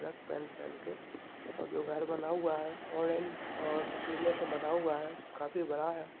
Black pant पेहेन के और जो घर बना हुआ है ऑरेंज और पिले से बना हुआ है काफी बड़ा है।